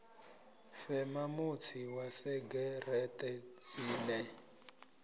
fema mutsi wa segereṱe dzine